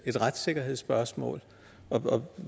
et retssikkerhedsspørgsmål og